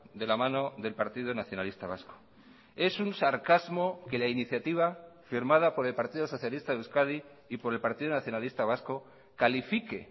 de la mano del partido nacionalista vasco es un sarcasmo que la iniciativa firmada por el partido socialista de euskadi y por el partido nacionalista vasco califique